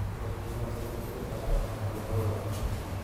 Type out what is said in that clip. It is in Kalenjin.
ibolu kiim ap sendimitaik artam ak muu agoi konom